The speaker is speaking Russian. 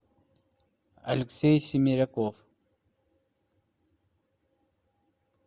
алексей семеряков